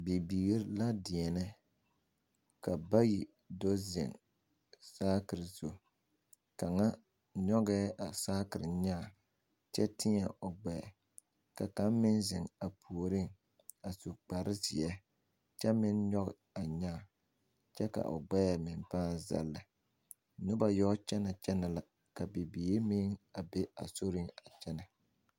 Bibiiri la deɛne ka bayi do zeŋ saakere zu kaŋa nyoŋɛ a saakere nyaa kyɛ teɛ o gbɛɛ ka kaŋa meŋ zeŋ a puori a su kpare ziɛ kyɛ meŋ nyoŋ a nyaa kyɛ ka o gbɛɛ meŋ paa zagle noba yɔ kyɛne kyɛne la ka bibiiri meŋ be a sori a kyɛne.